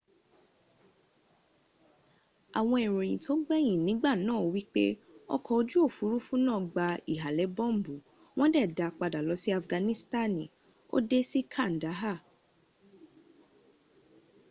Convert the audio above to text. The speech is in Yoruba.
awon iroyin to gbeyin nigba naa wipe oko oju ofurufu naa gba ihale bombu won de daa pada lo si afganistani o de si kandaha